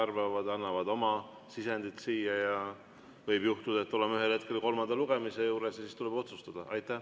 Nad annavad oma sisendi ja võib juhtuda, et oleme ühel hetkel kolmanda lugemise juures ja siis tuleb otsustada.